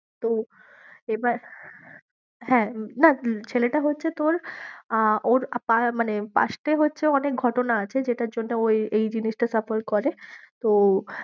আহ Uber driver এবার হ্যাঁ, না ছেলেটা হচ্ছে তোর আহ ওর মানে past time অনেক ঘটনা আছে যেটার জন্যে ও এই এই জিনিসটা suffer করে, তো